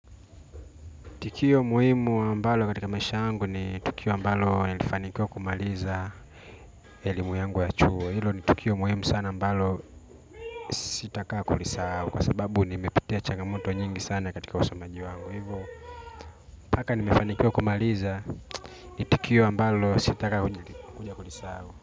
Tukio muhimu ambalo katika maisha yangu ni tukio ambalo lilifanikiwa kumaliza elimu yangu ya chuo ilo ni tukio muhimu sana ambalo sitakaa kulisahau kwa sababu nimepitia changamoto nyingi sana katika usomaji wangu hivyo mpaka nimefanikiwa kumaliza ni tukio ambalo sitaka kulisau.